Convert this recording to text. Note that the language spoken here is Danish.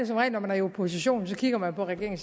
som regel når man er i opposition for så kigger man på regeringen